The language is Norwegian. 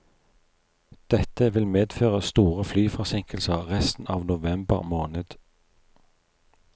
Dette vil medføre store flyforsinkelser resten av november måned.